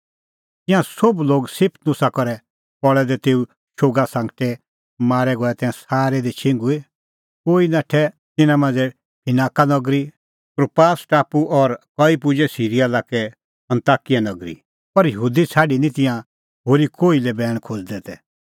तिंयां सोभ लोग स्तिफनुसा करै पल़ै दै तेऊ शोग सांगटे मारै गऐ तै सारै दी छिंघुई कोई नाठै तिन्नां मांझ़ै फिनाका नगरी कुप्रास टापू और कई पुजै सिरीया लाक्के अन्ताकिया नगरी पर यहूदी छ़ाडी निं तिंयां होरी कोही लै बैण खोज़दै तै